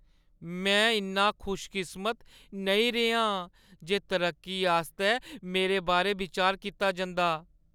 मैं इन्नी खुशकिस्मत नेईं रेही आं जे तरक्की आस्तै मेरे बारै विचार कीता जंदा।